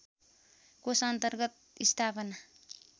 कोष अन्तर्गत स्थापना